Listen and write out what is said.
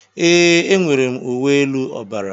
Ee, enwere m uwe elu ọbara.